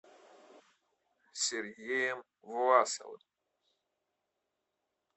сергеем власовым